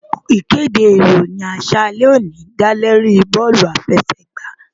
Ìkéde ìròyìn àṣálẹ́ òní dá lóríi eré bóòlù àfẹsẹ̀gbá